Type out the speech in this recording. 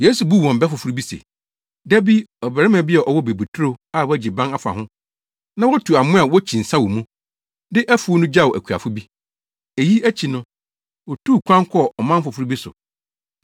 Yesu buu wɔn bɛ foforo bi se, “Da bi, ɔbarima bi a ɔwɔ bobeturo a wagye ban afa ho, na watu amoa a wokyi nsa wɔ mu, de afuw no gyaw akuafo bi. Eyi akyi no, otuu kwan kɔɔ ɔman foforo bi so.